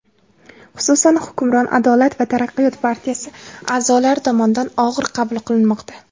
xususan hukmron "Adolat va taraqqiyot" partiyasi a’zolari tomonidan og‘ir qabul qilinmoqda.